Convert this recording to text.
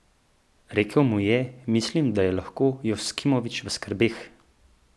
Rekel mu je: "Mislim, da je lahko Joksimović v skrbeh.